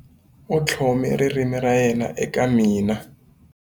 U tlhome ririmi ra yena eka mina.